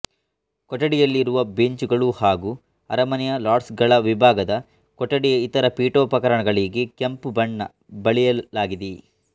ಕೊಠಡಿಯಲ್ಲಿರುವ ಬೆಂಚುಗಳು ಹಾಗು ಅರಮನೆಯ ಲಾರ್ಡ್ಸ್ ಗಳ ವಿಭಾಗದ ಕೊಠಡಿಯ ಇತರ ಪೀಠೋಪಕರಣಗಳಿಗೆ ಕೆಂಪು ಬಣ್ಣ ಬಳಿಯಲಾಗಿದೆ